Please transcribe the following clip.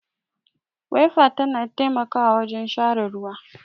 Waifa ta na taimakawa wajen share ruwa